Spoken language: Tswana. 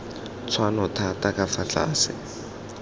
tshwanno thata ka fa tlase